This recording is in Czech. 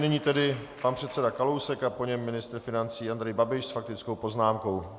Nyní tedy pan předseda Kalousek a po něm ministr financí Andrej Babiš s faktickou poznámkou.